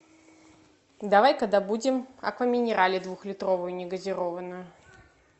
давай ка добудем аква минерале двухлитровую негазированную